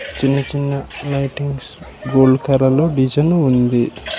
చిన్ని చిన్న lightings gold కరలో డిజైను ఉంది.